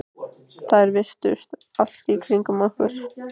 Þær virtust allt í kringum okkur.